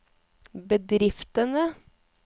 bedriftene